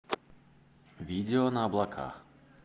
видео на облаках